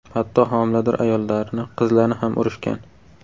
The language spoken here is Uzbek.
Hatto homilador ayollarni, qizlarni ham urishgan.